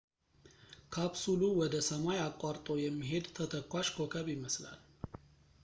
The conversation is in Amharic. ካፕሱሉ ወደ ሰማይ አቋርጦ የሚሄድ ተተኳሽ ኮከብ ይመስላል